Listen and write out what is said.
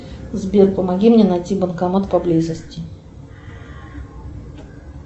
сбер помоги мне найти банкомат поблизости